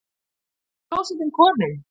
NÝJU KLÓSETTIN KOMIN!